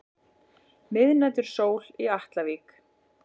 Miðnætursól í Atlavík.